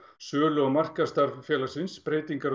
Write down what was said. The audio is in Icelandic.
sölu og markaðsstarf félagsins breytingar